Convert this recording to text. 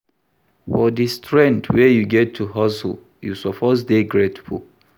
For di strength wey you get to hustle, you suppose dey grateful.